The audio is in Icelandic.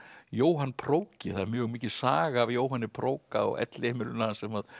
Jóhann það er mjög mikil saga af Jóhanni á elliheimilinu hans sem